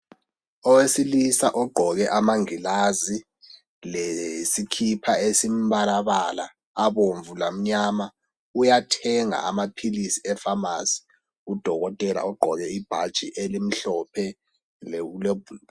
Owesilisa ogqoke amangilazi lesikipa esimbalabala abomvu lamnyama uyathenga amaphilisi eFamasi udokotela ugqoke ibhatshi elimhlophe